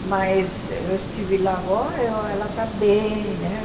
mas eu estive lá agora e ela está bem né.